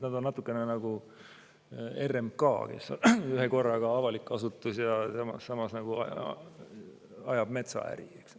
Nad on natukene nagu RMK, kes kuulub avalikku sektorisse, aga samas ajab metsaäri.